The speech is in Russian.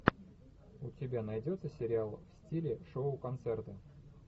у тебя найдется сериал в стиле шоу концерта